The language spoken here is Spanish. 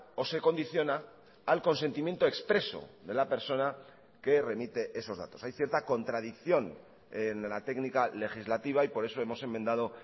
o se condiciona al consentimiento expreso de la persona que remite esos datos hay cierta contradicción en la técnica legislativa y por eso hemos enmendado